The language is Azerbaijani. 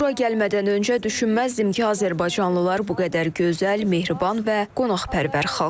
Bura gəlmədən öncə düşünməzdim ki, azərbaycanlılar bu qədər gözəl, mehriban və qonaqpərvər xalqdır.